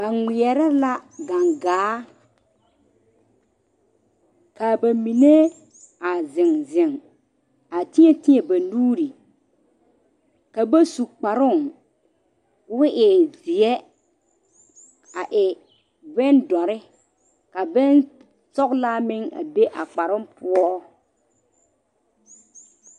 Ba ŋmeɛrɛ la gaŋgaa kaa ba mine zeŋ zeŋ ka teɛ teɛ ba nuure ka ba su kparoo ko o e zeɛ a e bondɔre ka bonsɔgelaa meŋ a be a kparoo poɔ